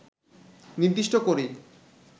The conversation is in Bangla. নির্দিষ্ট করেই